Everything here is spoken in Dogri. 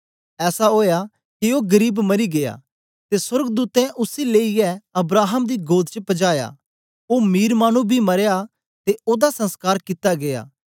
ऐसा ओआ के ओ गरीब मरी गीया ते सोर्गदूतें उसी लेईयै अब्राहम दी गोद च पजाया ओ मीर मानु बी मरेया ते ओदा संसकार कित्ता गीया